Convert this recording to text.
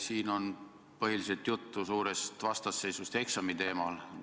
Siin on põhiliselt juttu suurest vastasseisust eksami teemal.